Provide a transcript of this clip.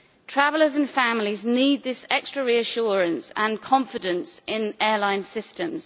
Travellers and families need this extra reassurance and confidence in airline systems.